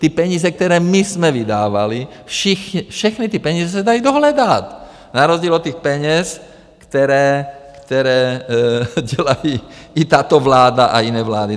Ty peníze, které my jsme vydávali, všechny ty peníze se dají dohledat na rozdíl od těch peněz, které dělají i tato vláda a jiné vlády.